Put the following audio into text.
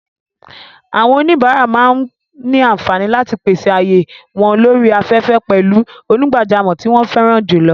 Àwọn oníbàárà máa ní àǹfààní láti pèsè ààyè wọ́n lórí afẹ́fẹ́ pẹ̀lú onígbàjámọ̀ tí wọ́n fẹ́ràn jùlọ.